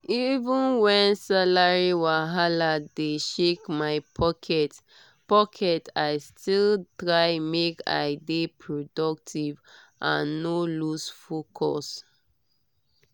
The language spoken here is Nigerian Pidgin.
even when salary wahala dey shake my pocket pocket i still try make i dey productive and no lose focus.